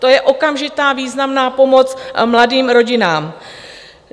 To je okamžitá významná pomoc mladým rodinám.